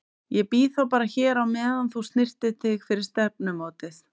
Ég bíð þá bara hér á meðan þú snyrtir þig fyrir stefnumótið.